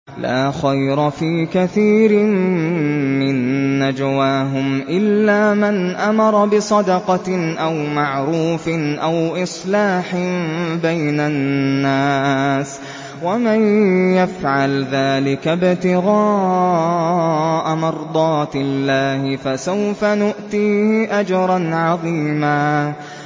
۞ لَّا خَيْرَ فِي كَثِيرٍ مِّن نَّجْوَاهُمْ إِلَّا مَنْ أَمَرَ بِصَدَقَةٍ أَوْ مَعْرُوفٍ أَوْ إِصْلَاحٍ بَيْنَ النَّاسِ ۚ وَمَن يَفْعَلْ ذَٰلِكَ ابْتِغَاءَ مَرْضَاتِ اللَّهِ فَسَوْفَ نُؤْتِيهِ أَجْرًا عَظِيمًا